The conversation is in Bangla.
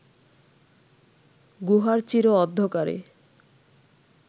গুহার চির অন্ধকারে